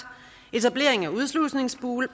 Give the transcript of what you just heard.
etablering af udslusningsboliger